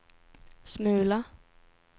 smula